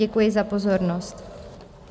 Děkuji za pozornost.